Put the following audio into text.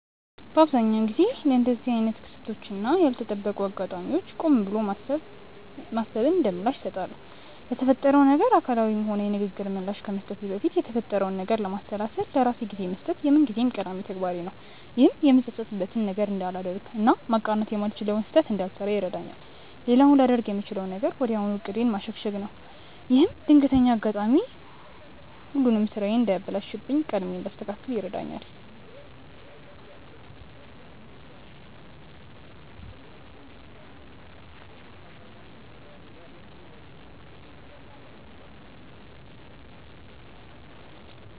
በአብዛኛው ጊዜ ለእንደዚህ አይነት ክስተቶች እና ያልተጠበቁ አጋጣሚዎች ቆም ብሎ ማሰብን እንደምላሽ እሰጣለሁ። ለተፈጠረው ነገር አካላዊም ሆነ የንግግር ምላሽ ከመስጠቴ በፊት የተፈጠረውን ነገር ለማሰላሰል ለራሴ ጊዜ መስጠት የምንጊዜም ቀዳሚ ተግባሬ ነው። ይህም የምጸጸትበትን ነገር እንዳላደርግ እና ማቃናት የማልችለውን ስህተት እንዳልሰራ ይረዳኛል። ሌላው ላደርግ የምችለው ነገር ወዲያው ዕቅዴን ማሸጋሸግ ነው። ይህም ድንገተኛው አጋጣሚ ሁሉንም ስራዬን እንዳያበላሽብኝ ቀድሜ እንዳስተካክል ይረዳኛል።